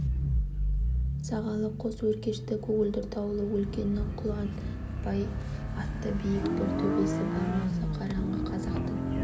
сағалы қос өркешті көгілдір таулы өлкенің құлшынбай атты биік бір төбесі бар осы араға қазақтың